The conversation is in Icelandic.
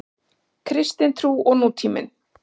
Kristin trú og nútíminn.